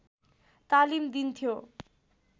तालिम दिन्थ्यो